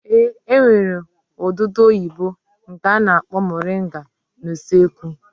Ee, e nwere odudu oyibo nke a na-akpọ moringa n'usekwu